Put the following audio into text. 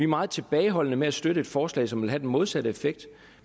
meget tilbageholdende med at støtte et forslag som vil have den modsatte effekt